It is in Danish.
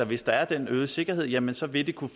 hvis der er den øgede sikkerhed jamen så vil det kunne